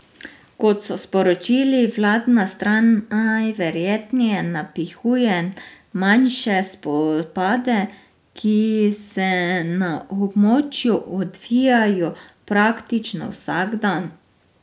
Kot so sporočili, vladna stran najverjetneje napihuje manjše spopade, ki se na območju odvijajo praktično vsak dan.